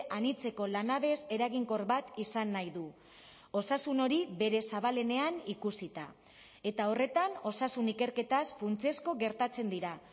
anitzeko lanabes eraginkor bat izan nahi du osasun hori bere zabalenean ikusita eta horretan osasun ikerketaz funtsezko gertatzen dira